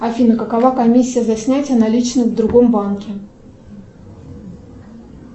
афина какова комиссия за снятие наличных в другом банке